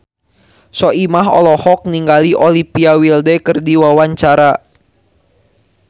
Soimah olohok ningali Olivia Wilde keur diwawancara